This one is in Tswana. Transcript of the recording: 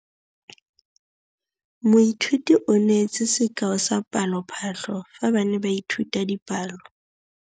Moithuti o neetse sekaô sa palophatlo fa ba ne ba ithuta dipalo.